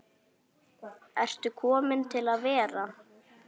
Ertu komin til að vera?